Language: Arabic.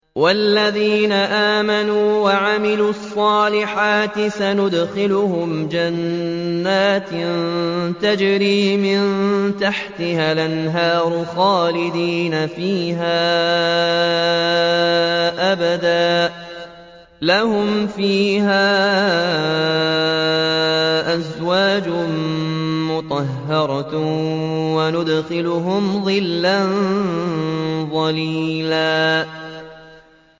وَالَّذِينَ آمَنُوا وَعَمِلُوا الصَّالِحَاتِ سَنُدْخِلُهُمْ جَنَّاتٍ تَجْرِي مِن تَحْتِهَا الْأَنْهَارُ خَالِدِينَ فِيهَا أَبَدًا ۖ لَّهُمْ فِيهَا أَزْوَاجٌ مُّطَهَّرَةٌ ۖ وَنُدْخِلُهُمْ ظِلًّا ظَلِيلًا